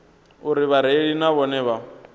uri vhareili na vhone vha